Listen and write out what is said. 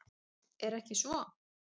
Er ekki svo?